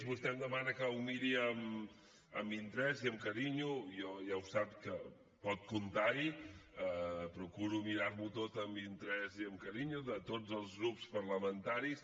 vostè em demana que ho miri amb interès i amb carinyo i jo ja ho sap que pot comptar hi procuro mirar m’ho tot amb interès i amb carinyo de tots els grups parlamentaris